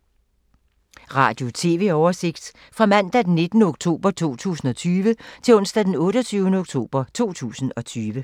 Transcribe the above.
Radio/TV oversigt fra mandag d. 19. oktober 2020 til onsdag d. 28. oktober 2020